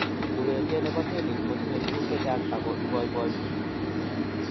Urerie ne bo tenis ko tinye tukuk che chang ako iboiboi.